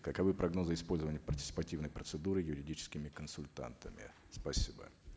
каковы прогнозы использования партисипативной процедуры юридическими конультантами спасибо